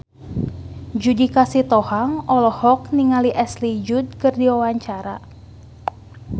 Judika Sitohang olohok ningali Ashley Judd keur diwawancara